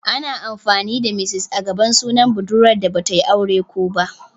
Ana amfani da "Miss" a gaban sunan budurwa da Bata yi aure kō ba.